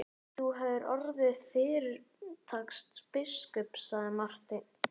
Þú hefðir orðið fyrirtaks biskup, sagði Marteinn.